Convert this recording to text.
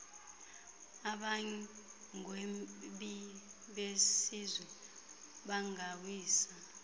abagwebi besizwe bangawisa